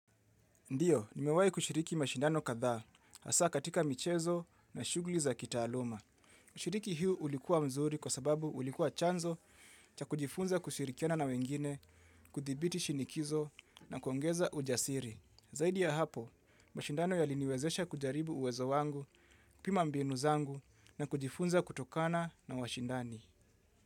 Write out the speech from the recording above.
Ndiyo, nimewahi kushiriki mashindano kadhaa, haswa katika michezo na shughuli za kitaaluma. Shiriki huu ulikuwa mzuri kwa sababu ulikuwa chanzo cha kujifunza kushirikiana na wengine, kuthibiti shinikizo na kuongeza ujasiri. Zaidi ya hapo, mashindano yaliniwezesha kujaribu uwezo wangu, kupima mbinu zangu na kujifunza kutokana na washindani.